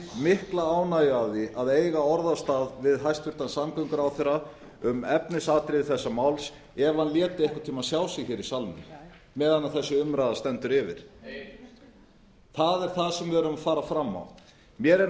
mikla ánægju af því að eiga orðastað við hæstvirtan samgönguráðherra um efnisatriði þessa máls ef hann léti einhvern tíma sjá sig í salnum meðan þessi umræða stendur yfir nei það er það sem við erum að fara fram á mér er